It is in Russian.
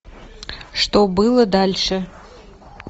что было дальше